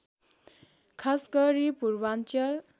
खासगरी पूर्वाञ्चल